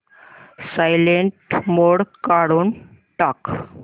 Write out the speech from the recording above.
silent mode काढून टाक